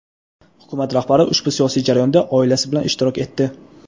Hukumat rahbari ushbu siyosiy jarayonda oilasi bilan ishtirok etdi.